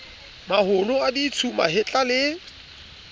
maholo a ditsu mahetla le